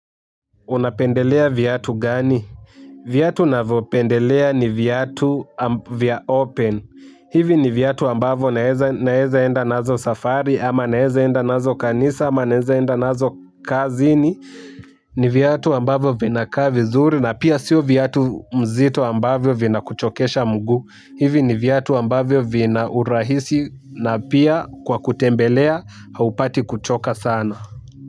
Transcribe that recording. Unapendelea viatu gani. Viatu navyopendelea ni viatu vya open. Hivi ni viatu ambavyo naeza enda nazo safari ama naeza enda nazo kanisa ama naeza enda nazo kazini. Ni viatu ambavyo vinakaa vizuri na pia sio viatu mzito ambavyo vina kuchokesha mguu. Hivi ni viatu ambavyo vina urahisi na pia kwa kutembelea haupati kuchoka sana.